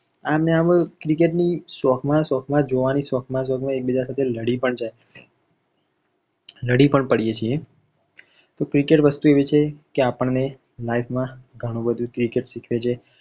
આમ ને આમ cricket ની શોખમાં ને શોખમાં જોવાની શોખમાં એક બીજા સાથે લડી પણ પડીએ છી. તો cricket વસ્તુ આવી છે કે જે life માં આપણને ઘણું બધુ શી ખવે છે.